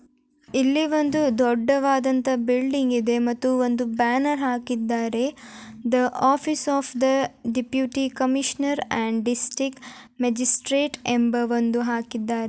ಇಲ್ಲಿ ಒಂದು ದೊಡ್ಡದಾದ ಬಿಲ್ಡಿಂಗ್ ಇದೆ ಮತ್ತೆ ಒಂದು ಬ್ಯಾನರ್ ಹಾಕಿದ್ದಾರೆ the office of the deputy commissioner district Majestic ಎಂಬ ಒಂದು ಹಾಕಿದ್ದಾರೆ.